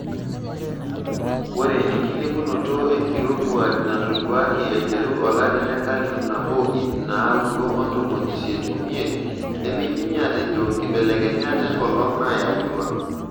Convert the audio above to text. Ore enkilepunoto enkirowuaj natoduaki aiteru olari lenkalifu nabo iip nnaudo ontomoni isiet omiet nemeidimi atejo nkibelekenyat enkolong nayautua.